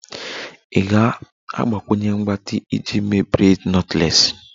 Ị ga-agbakwunye mgbatị iji mee braids knotless?